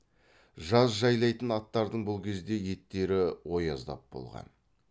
жаз жайлайтын аттардың бұл кезде еттері ояздап болған